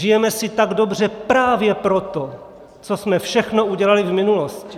Žijeme si tak dobře právě proto, co jsme všechno udělali v minulosti!